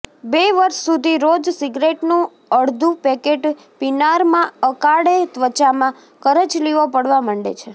બે વર્ષ સુધી રોજ સિગરેટનું અડધું પેકેટ પીનારમાં અકાળે ત્વચામાં કરચલીઓ પડવા માંડે છે